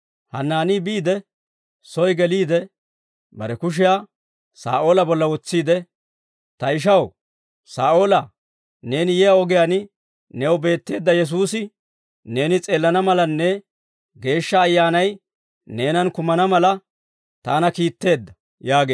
Hanaanii biide, soy geliide, bare kushiyaa Saa'oola bolla wotsiide, «Ta ishaw Saa'oolaa, neeni yiyaa ogiyaan new beetteedda Yesuusi, neeni s'eelana malanne Geeshsha Ayyaanay neenan kumana mala, taana kiitteedda» yaageedda.